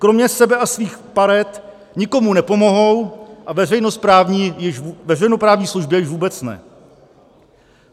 Kromě sebe a svých part nikomu nepomohou, a veřejnoprávní službě již vůbec ne.